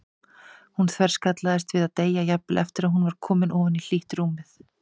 Hún þverskallaðist við að deyja, jafnvel eftir að hún var komin ofan í hlýtt rúmið.